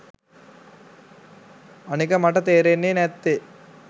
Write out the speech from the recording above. අනික මට තේරෙන්නේ නැත්තේ